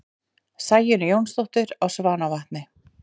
Sæunn Jónsdóttir á Svanavatni